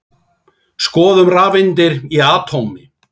Skoðum rafeindir í atómi.